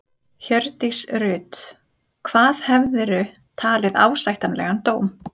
Hjördís Rut: Hvað hefðirðu talið ásættanlegan dóm?